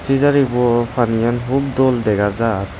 pejari bu panigan hub dol degajar.